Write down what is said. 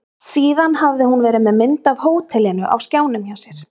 Síðan hafði hún verið með mynd af hótelinu á skjánum hjá sér.